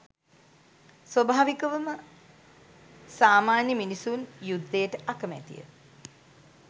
ස්වභාවිකවම සාමාන්‍ය මිනිසුන් යුද්ධයට අකමැතිය.